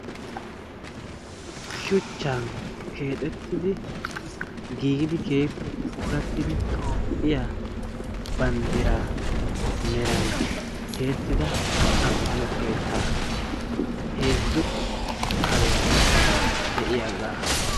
shuchchan keexxitidi giigidi keehippe puulattiidi toophiyaa banddiraa meran tiyettida ammano keettaa. heezzu kaariyaara de'iyaagaa.